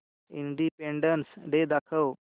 independence day दाखव